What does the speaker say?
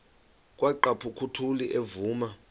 kwaqhaphuk uthuli evuma